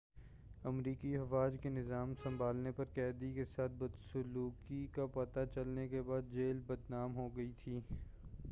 امریکی افواج کے نظام سنبھالنے پر قیدی کے ساتھ بدسلوکی کا پتہ چلنے کے بعد جیل بدنام ہو گئی تھی